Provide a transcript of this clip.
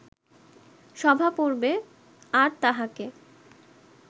সভাপর্বে আর তাঁহাকে